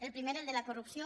el primer el de la corrupció